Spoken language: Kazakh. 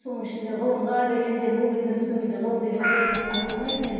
соның ішінде ғылымға деген де ол кезде біздің үйде ғылым деген сөз айтылмайтын еді